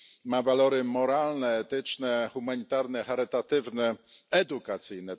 Ma walory moralne, etyczne, humanitarne, charytatywne, edukacyjne...